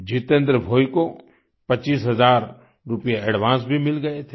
जितेन्द्र भोइ को पच्चीस हज़ार रूपये एडवांस भी मिल गए थे